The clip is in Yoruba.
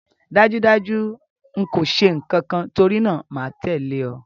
Dájúdájú n kò se nkankan torínáà máa tẹ̀lẹ́ o